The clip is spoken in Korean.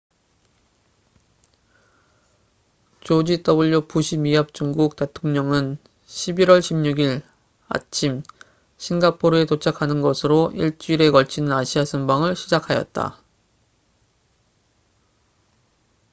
조지 w 부시 미합중국 대통령은 11월 16일 아침 싱가포르에 도착하는 것으로 일주일에 걸치는 아시아 순방을 시작하였다